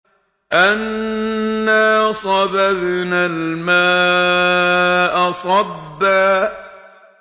أَنَّا صَبَبْنَا الْمَاءَ صَبًّا